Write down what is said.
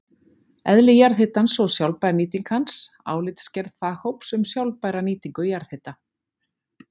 Eðli jarðhitans og sjálfbær nýting hans: Álitsgerð faghóps um sjálfbæra nýtingu jarðhita.